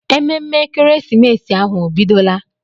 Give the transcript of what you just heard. Ememme ekeresimesi ahụ o bidola?